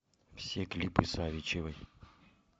все клипы савичевой